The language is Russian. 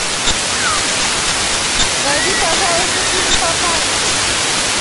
найди пожалуйста фильм папаньки